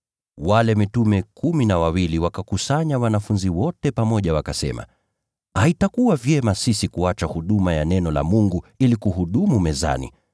Wale mitume kumi na wawili wakakusanya wanafunzi wote pamoja wakasema, “Haitakuwa vyema sisi kuacha huduma ya neno la Mungu ili kuhudumu mezani.